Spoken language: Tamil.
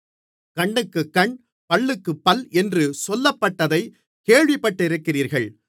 கண்ணுக்குக் கண் பல்லுக்குப் பல் என்று சொல்லப்பட்டதைக் கேள்விப்பட்டிருக்கிறீர்கள்